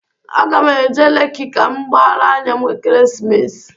Aga m eje Leki ka m gbaara anya m Ekeresimesi.